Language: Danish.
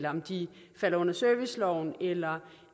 om de falder under serviceloven eller